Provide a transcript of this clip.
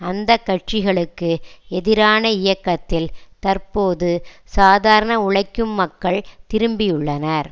அந்த கட்சிகளுக்கு எதிரான இயக்கத்தில் தற்போது சாதாரண உழைக்கும் மக்கள் திரும்பியுள்ளனர்